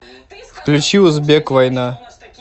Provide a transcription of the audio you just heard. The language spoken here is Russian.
включи узбек война